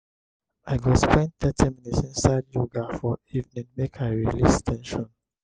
i go spend thirty minutes inside yoga for evening make i release ten sion.